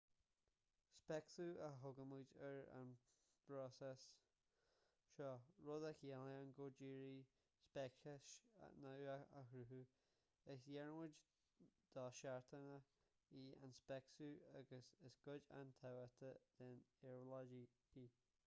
speiceasú a thugaimid ar an bpróiseas seo rud a chiallaíonn go díreach speiceas nua a chruthú is iarmhairt dosheachanta í an speiceasú agus is cuid an-tábhachtach den éabhlóid í